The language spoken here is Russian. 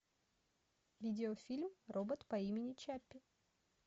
видеофильм робот по имени чаппи